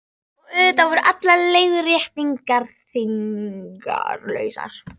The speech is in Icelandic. Og auðvitað voru allar leiðréttingar þýðingarlausar.